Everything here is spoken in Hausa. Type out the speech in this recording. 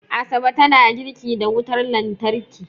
Asabe tana girki da wutar lantarki